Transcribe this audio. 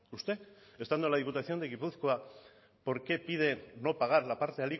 usted estando en la diputación de gipuzkoa por qué pide no pagar la parte